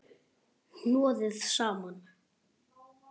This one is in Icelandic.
Hnoðið saman.